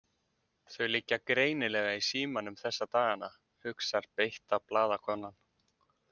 Þau liggja greinilega í símanum þessa dagana, hugsar beitta blaðakonan.